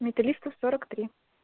металлистов сорок три